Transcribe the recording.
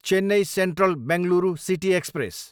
Chennai central, Bengaluru city express